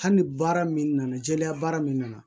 Hali ni baara min nana jɛlenya baara min na